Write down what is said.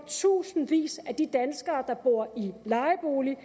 tusindvis af de danskere der bor i lejebolig